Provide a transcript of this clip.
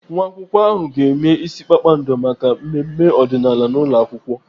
Nwa akwụkwọ ahụ ga-eme ịsị kpakpando maka mmemme ọdịnaala n'ụlọakwụkwọ.